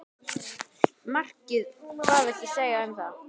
Markið hvað viltu segja um það?